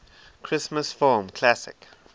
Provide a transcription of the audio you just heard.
christmas film classic